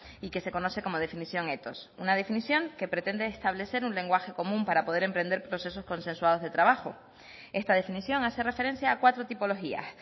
y que se conoce como definición ethos una definición que pretende establecer un lenguaje común para poder emprender procesos consensuados de trabajo esta definición hace referencia a cuatro tipologías